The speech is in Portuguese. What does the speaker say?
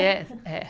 Jazz, né?